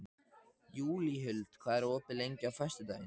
Júlíhuld, hvað er opið lengi á föstudaginn?